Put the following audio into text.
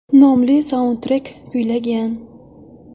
nomli saundtrek kuylagan.